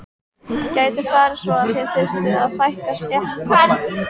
Gæti farið svo að þið þyrftuð að fækka skepnum?